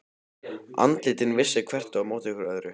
Andlitin vissu hvert á móti öðru.